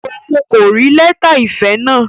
Òun kò rí lẹta ìfẹ náà?